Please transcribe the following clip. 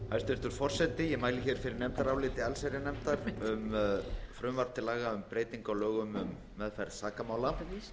hæstvirtur forseti ég mæli hér fyrir nefndaráliti allsherjarnefndar um frumvarp til laga um breytingu á lögum um meðferð sakamála